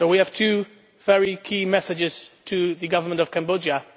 We have two very key messages for the Government of Cambodia.